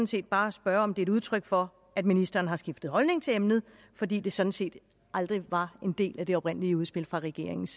set bare spørge om det er et udtryk for at ministeren har skiftet holdning til emnet fordi det sådan set aldrig var en del af det oprindelige udspil fra regeringens